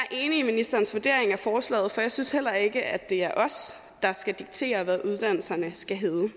i ministerens vurdering af forslaget for jeg synes heller ikke at det er os der skal diktere hvad uddannelserne skal hedde